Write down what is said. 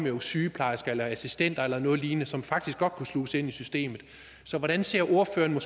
jo sygeplejersker eller assistenter eller noget lignende som faktisk godt kunne sluses ind i systemet så hvordan ser ordføreren